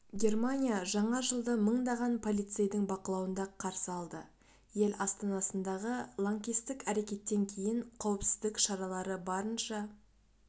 германия жаңа жылды мыңдаған полицейдің бақылауында қарсы алды ел астанасындағы лаңкестік әрекеттен кейін қауіпсіздік шаралары барынша